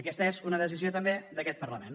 aquesta és una decisió també d’aquest parlament